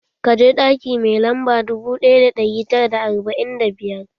Ka je ɗaki mai lamba dubu ɗaya da ɗari tara da arba'in da biyar!